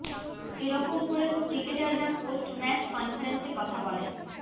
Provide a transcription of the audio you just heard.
এ রকম করে তো ক্রিকেটাররা পোস্ট ম্যাচ কনফারেন্সে কথা বলেন